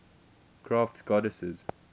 crafts goddesses